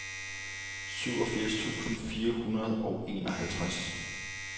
syvogfirs tusind fire hundrede og enoghalvtreds